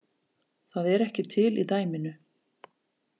Það er ekki til í dæminu